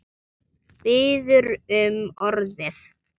Biður um orðið.